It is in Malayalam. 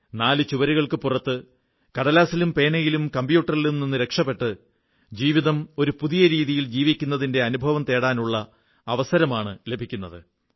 നാലു ചുവരുകൾക്ക് പുറത്ത് കടലാസിലും പേനയിലും കമ്പ്യൂട്ടറിലും നിന്നു രക്ഷപ്പെട്ട് ജീവിതം ഒരു പുതിയ രീതിയിൽ ജീവിക്കുന്നതിന്റെ അനുഭവം നേടാനുള്ള അവസരമാണു ലഭിക്കുന്നത്